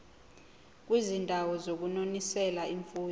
kwizindawo zokunonisela imfuyo